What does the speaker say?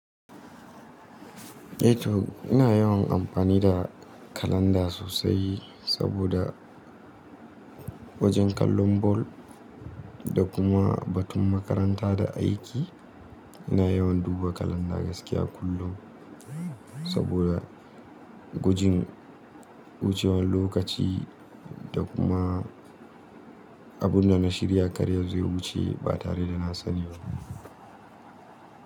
Eh to ina yawan amfani da kalanda sosai saboda wajen kallon ball da kuma batun makaranta da aiki. Ina yawan duba kalanda gaskiya kullum saboda gujin wucewan lokaci da kuma abunda na shirya karya zo ya wuce ba tare da na sani ba.